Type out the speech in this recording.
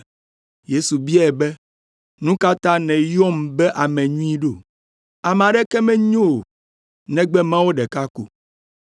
Yesu biae be, “Nu ka ta nèyɔm be ame nyui ɖo? Ame aɖeke menyo o, negbe Mawu ɖeka ko.